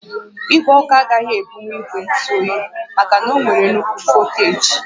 Igwe ọkụ agaghị ebunwu ígwè ntụ óyi maka na ọ nwere nnukwu volteeji